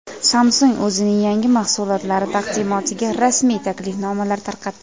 Samsung o‘zining yangi mahsulotlari taqdimotiga rasmiy taklifnomalar tarqatdi.